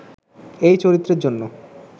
এই চরিত্রের জন্য